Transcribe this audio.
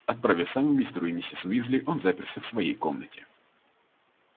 отправив сову мистеру и миссис уизли он заперся в своей комнате